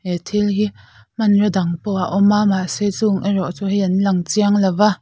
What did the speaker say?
he thil hi hmaraw dang pawh a awma mahse chung erawh chu hei an lang chiang lova.